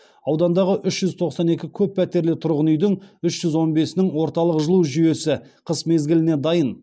аудандағы үш жүз тоқсан екі көп пәтерлі тұрғын үйдің үш жүз он бесінің орталық жылу жүйесі қыс мезгіліне дайын